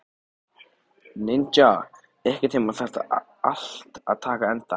Ninja, einhvern tímann þarf allt að taka enda.